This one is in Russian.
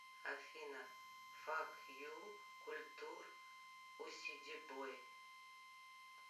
афина фак ю культур усидибой